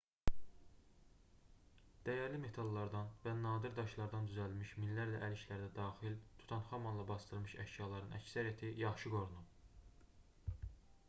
dəyərli metallardan və nadir daşlardan düzəldilmiş minlərlə əl işləri də daxil tutanxamonla basdırılmış əşyaların əksəriyyəti yaxşı qorunub